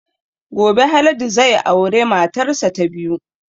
Gobe Haladu zai aure matar sa ta biyu